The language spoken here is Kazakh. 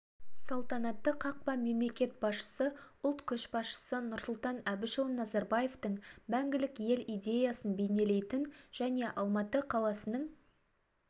салтанатты қақпа мемлекет басшысы ұлт көшбасшысы нұрсұлтан әбішұлы назарбаевтың мәңгілік ел идеясын бейнелейтін және алматы қаласының